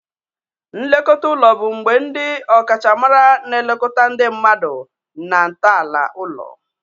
Nlekọta ụlọ bụ mgbe ndi ọkachamara na-elekọta ndị mmadụ na ntọala ụlọ.